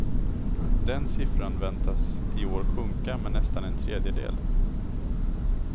Den siffran väntas i år sjunka med nästan en tredjedel.